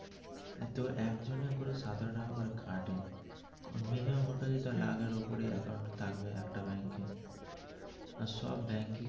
একজনের করে সতেরো টাকা করে কাটে minimum ওর কাছে থাকবে একটা ব্যাংকে আর সব ব্যাংকেই.